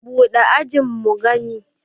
buɗe ajin mu gani!